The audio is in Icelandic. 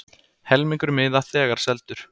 Helmingur miða þegar seldur